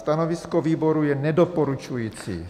Stanovisko výboru je nedoporučující.